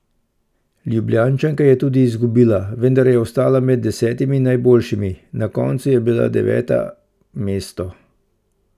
Ljubljančanka je tudi izgubila, vendar je ostala med desetimi najboljšimi, na koncu je bila deveta mesto.